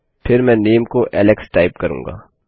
फिर मैं my name is Alex type करूंगा